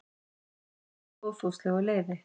birt með góðfúslegu leyfi